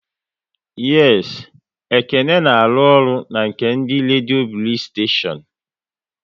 Yes, Ekene works with the Blaze radio station